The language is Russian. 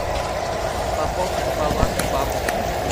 пополнить баланс бабушке